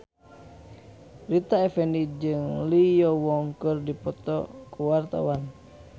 Rita Effendy jeung Lee Yo Won keur dipoto ku wartawan